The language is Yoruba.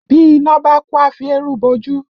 Bí iná bá kú a fi eérú bo ojú